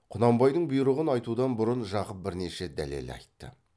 құнанбайдың бұйрығын айтудан бұрын жақып бірнеше дәлел айтты